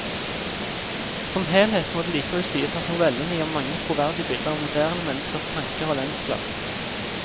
Som helhet må det likevel sies at novellene gir mange troverdige bilder av moderne menneskers tanker og lengsler.